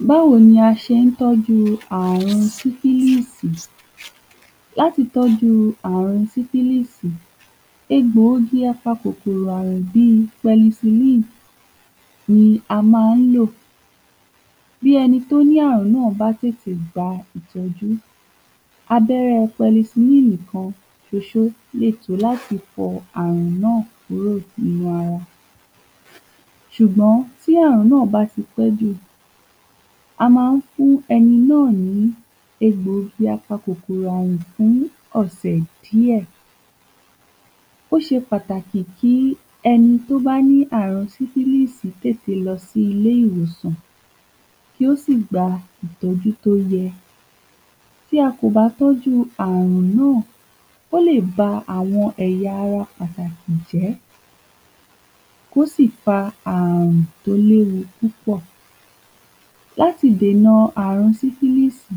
Báwo ni a ṣe ń tọ́jú àrun sífílíìsì Lati tọ́jú àrun sífílíìsì egbòogi apakòkòrò àrun bíi pẹnisilíìn ni a má ń lọ̀ bí ẹni tó ní àrùn náà bá lè gba ìtọ́jú aḅérẹ́ pẹnisilíìn kan ṣoṣó lè tò láti fo àrùn náà kúrò nínu ara ṣùgbọ́n tí àrùn náà bá ti pẹ́ jù a ma ń fún ẹni náà ní egbòogi apakòkòrò àrun fún ọ̀sẹ̀ díẹ̀ ó ṣe pàtàkì kí ẹni tó bá ní àrùn sífílíìsì tètè lọ sí ilé ìwòsàn kí ó sì gba ìtọ́jú tó yẹ tí a kò bá tọ́jú àrùn náà ó lè ba àwon ẹ̀ya ara pàtàkì jẹ́ kó sì fa àrùn tó léwu púpọ̀ láti dèna àrùn sífílíìsì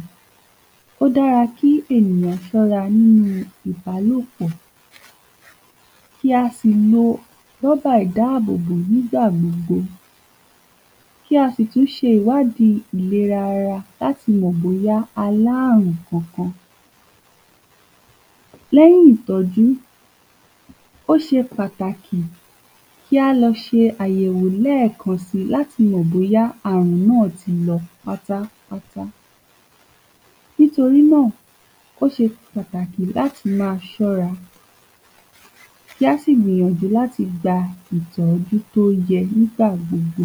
ó dára kí ènìyàn ṣọ́ra nínu ìbálòpọ̀ kí a sì lo rọ́bà ìdábòbò nígbà gbogbo kí a sì tú ṣe ìwádí ìlera ara láti mọ̀ bóyá a lá àrùn kankan lẹ́yìn ìtọ́jú ó ṣe pàtàkì kí a lọ ṣe àyẹ̀wo lẹ́kan si láti mọ̀ bóyá àrùn náà ti lọ pátápátá nítorí náà ó ṣe pàtàkì láti ma ṣóra kí á sì gbìyànjú láti gba ìtójú tó yẹ nígbà gbogbo